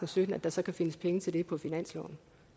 og sytten at der så kan findes penge til det på finansloven